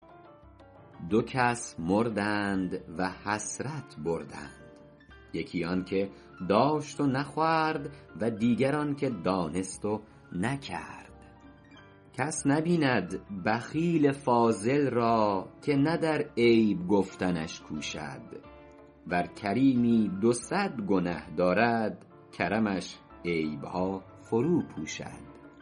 دو کس مردند و حسرت بردند یکی آن که داشت و نخورد و دیگر آن که دانست و نکرد کس نبیند بخیل فاضل را که نه در عیب گفتنش کوشد ور کریمی دو صد گنه دارد کرمش عیبها فرو پوشد